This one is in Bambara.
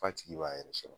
F'a tigi b'a yɛrɛ sɔrɔ